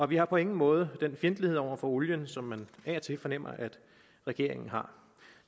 vi har på ingen måde den fjendtlighed over for olien som man af og til fornemmer at regeringen har